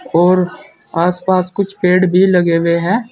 और आस पास कुछ पेड़ भी लगे हुए है।